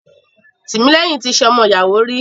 Timilehin ti ṣe ọmọ ìyàwó rí